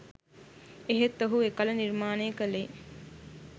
එහෙත් ඔහු එකල නිර්මානය කළේ